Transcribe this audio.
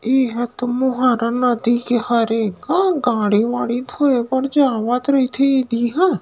ईहा तो मोहारा नदी हरे का गाड़ी वाड़ी धोए बर जावत रईथे दिहा--